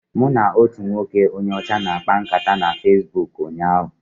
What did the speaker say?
Mụ na otu nwoke onye ọcha na-akpa nkata na Fesbuk ụnyaahụ.